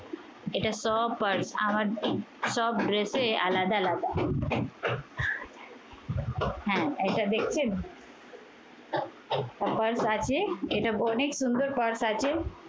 এটা সব purse আমার সব dress এ আলাদা আলাদা। হ্যাঁ এটা দেখছেন? আছে। এটা অনেক সুন্দর purse আছে।